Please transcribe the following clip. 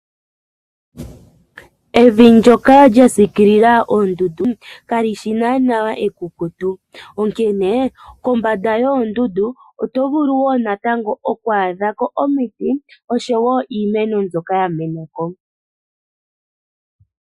Evi ndoka lya siikilila oondundu kalishi naana ekukutu ,onkene kombanda yoondundu oto vulu woo natango oku adhako omiti osho woo iimeno mbyoka ya menako.